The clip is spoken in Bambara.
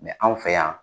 anw fɛ yan